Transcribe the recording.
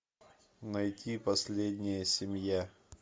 найти последняя семья